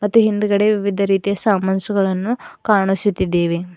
ಮತ್ತು ಹಿಂದಗಡೆ ವಿವಿಧ ರೀತಿಯ ಸಾಮಾನ್ಸುಗಳನ್ನು ಕಾಣಿಸುತ್ತಿದ್ದೇವೆ.